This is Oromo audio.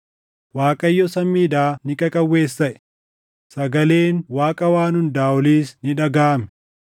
Waaqayyo samiidhaa ni qaqawweessaʼe; sagaleen Waaqa Waan Hundaa Oliis ni dhagaʼame.